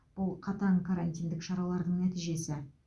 бұл қатаң карантиндік шаралардың нәтижесі